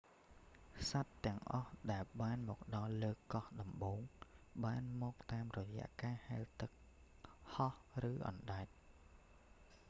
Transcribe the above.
សត្វទាំងអស់ដែលបានមកដល់លើកោះដំបូង បានមកតាមរយៈការហែលទឹក ហោះឬអណ្តែត